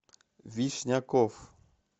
вишняков